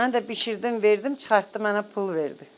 Mən də bişirdim, verdim, çıxartdım, mənə pul verdi.